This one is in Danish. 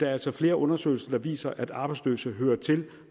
er altså flere undersøgelser der viser at arbejdsløse hører til